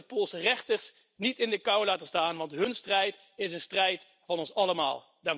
Wij zullen de Poolse rechters niet in de kou laten staan, want hun strijd is een strijd van ons allemaal.